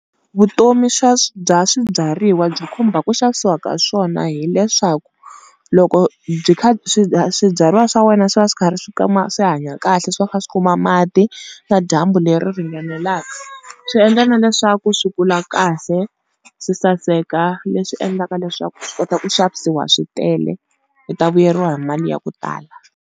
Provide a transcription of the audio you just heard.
Vutomi bya swibyariwa byi khumba ku xavisiwa ka swona, hileswaku loko byi kha swibyariwa swa wena swi va swi karhi swi hanya kahle swi va kha swi kuma mati na dyambu leri ringanelaka. Swi endla na leswaku swi kula kahle, swi saseka leswi endlaka leswaku swi kota ku xavisiwa swi tele u ta vuyeriwa hi mali ya ku tala.